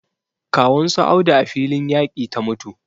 Kawun su Audu a filin yaƙi ta mutu